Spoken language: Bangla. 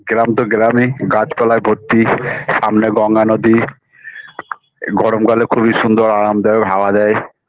গ্রাম তো গ্রামই গাছপালায় ভর্তি সামনে গঙ্গা নদী গরমকালে খুবই সুন্দর আরামদায়ক হাওয়া দেয়